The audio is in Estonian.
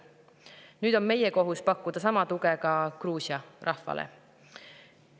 Nüüd on meie kohus pakkuda sama tuge Gruusia rahvale.